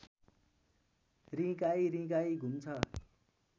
रिँगाइ रिँगाइ घुम्छ